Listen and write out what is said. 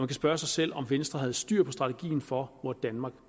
kan spørge sig selv om venstre havde styr på strategien for hvor danmark